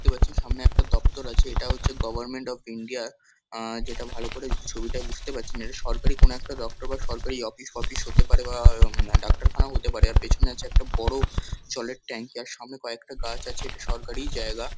দেখতে পাচ্ছি সামনে একটা দপ্তর আছে। এটা হচ্ছে গভর্নমেন্ট অফ ইন্ডিয়া আ যেটা ভালো করে ছবিটা বুঝতে পারছি না। এটা সরকারি কোনো একটা দপ্তর বা সরকারি অফিস ফফিস হতে পারে বা উম ডাক্তারখানাও হতে পারে। আর পেছনে আছে একটা বড়ো জলের ট্যাংকি আর সামনে কয়েকটা গাছ আছে। এটা সরকারিই জায়গা।